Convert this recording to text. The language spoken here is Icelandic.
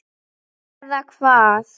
Eða hvað?